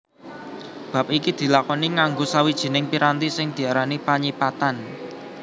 Bab iki dilakoni nganggo sawijining piranti sing diarani panyipatan